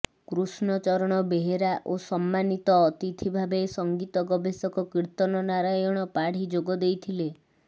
କୃଷ୍ଣ ଚରଣ ବେହେରା ଓ ସମ୍ମାନୀତ ଅତିଥି ଭାବେ ସଂଗୀତ ଗବେଷକ କୀର୍ତନ ନାରାୟଣ ପାଢ଼ୀ ଯୋଗ ଦେଇଥିଲେ